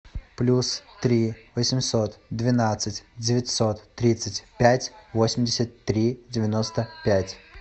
плюс три восемьсот двенадцать девятьсот тридцать пять восемьдесят три девяносто пять